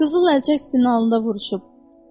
Qızıl əlcək binasında vuruşub.